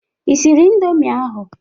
Ị siri indomi ahụ?